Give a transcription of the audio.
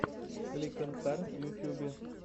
кликонкар в ютьюбе